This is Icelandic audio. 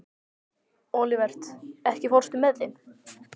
Olivert, ekki fórstu með þeim?